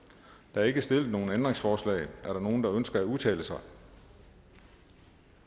der er ikke stillet nogen ændringsforslag er der nogen der ønsker at udtale sig